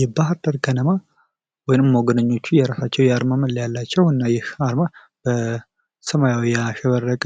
የባህርዳር ከነማ ወይም ሞገደኞቹ የራሳቸዉ የአርማ መለያ አላቸዉ። እና ይህ አርማ በሰማያዊ ያሸበረቀ